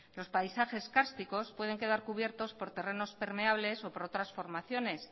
los paisajes cársticos pueden quedar cubiertos por terrenos permeables o por otras formaciones